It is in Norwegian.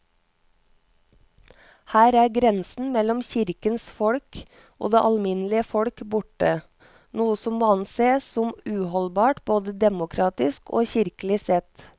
Her er grensen mellom kirkens folk og det alminnelige folk borte, noe som må ansees som uholdbart både demokratisk og kirkelig sett.